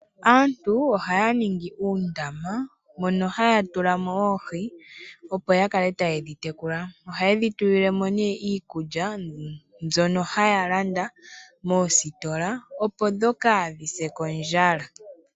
Aantu ohaya ningi uundama moka haya tula mo oohi, opo ya kale taye dhi tekula. Ohaye dhi tulile mo iikulya mbyoka haya landa moositola, opo kaadhi se kondjala.